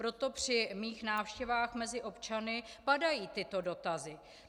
Proto při mých návštěvách mezi občany padají tyto dotazy.